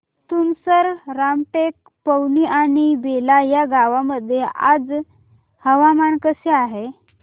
तुमसर रामटेक पवनी आणि बेला या गावांमध्ये आज हवामान कसे आहे